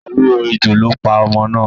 Oró ejò ló pa ọmọ náà.